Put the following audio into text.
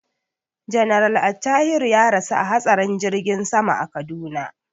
General Attahiru ya rasu a hatsarin jirgin sama a Kaduna.